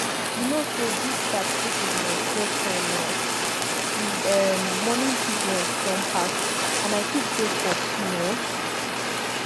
you know say dis taxi business get time now di um morning business don pass and i still dey for queue um